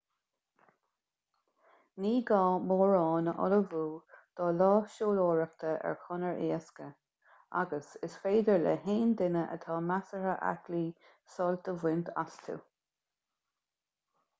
ní gá mórán á ullmhú do lá siúlóireachta ar chonair éasca agus is féidir le haon duine atá measartha aclaí sult a bhaint astu